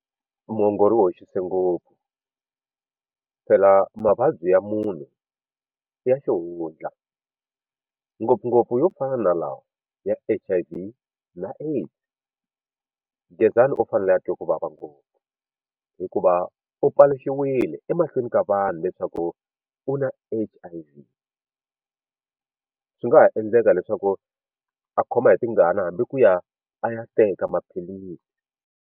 Muongori u hoxilse ngopfu phela mavabyi ya munhu i ya xihundla ngopfungopfu yo fana na lawa ya H_I_V na AIDS Gezani u fanele a twe ku vava ngopfu hikuva u paluxiwile emahlweni ka vanhu leswaku u na H_I_V swi nga ha endleka leswaku a khoma hi tingana hambi ku ya a ya teka maphilisi.